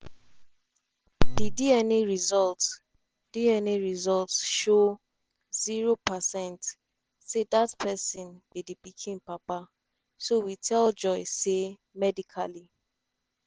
"di dna results dna results show zero percent say dat pesin be di pikin papa so we tell joy say medically